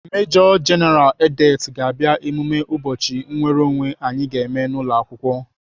Mejo jeneral Edet ga-abịa emume ụbọchị nnwereonwe anyị ga-eme n'ụlọakwụkwọ.